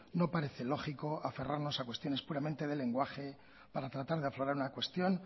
no parece lógico aferrarnos a cuestiones puramente de lenguaje para tratar de aflorar una cuestión